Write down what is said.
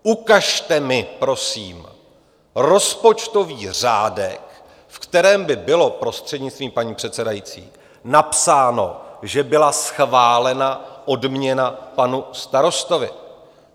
Ukažte mi prosím rozpočtový řádek, ve kterém by bylo, prostřednictvím paní předsedající, napsáno, že byla schválena odměna panu starostovi.